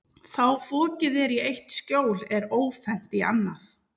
Þá fokið er í eitt skjól er ófennt í annað.